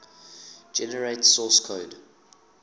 generate source code